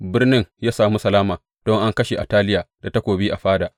Birnin ya sami salama don an kashe Ataliya da takobi a fada.